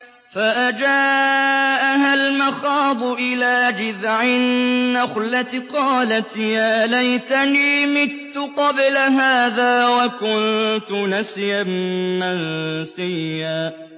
فَأَجَاءَهَا الْمَخَاضُ إِلَىٰ جِذْعِ النَّخْلَةِ قَالَتْ يَا لَيْتَنِي مِتُّ قَبْلَ هَٰذَا وَكُنتُ نَسْيًا مَّنسِيًّا